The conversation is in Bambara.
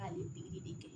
A ye kɛ